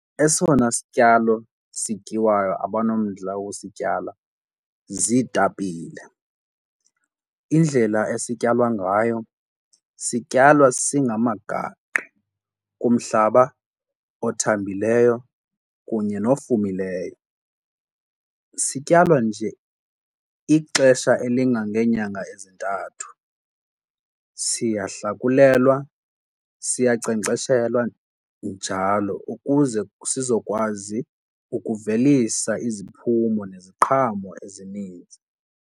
Esona sityalo sityiwayo abanomdla wokusityala ziitapile. Indlela esityalwa ngayo sityalwa singamagaqa kumhlaba othambileyo kunye nofumileyo. Sityalwa nje ixesha elingangeenyanga ezintathu. Siyahlakulwelwa siyankcenkceshelwa njalo ukuze sizokwazi ukuvelisa iziphumo neziqhamo ezininzi.